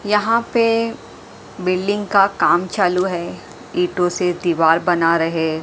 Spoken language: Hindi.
यहां पे बिल्डिंग का काम चालू है इटो से दीवार बना रहे--